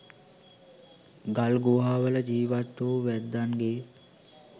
ගල්ගුහාවල ජීවත් වූ වැද්දන්ගේ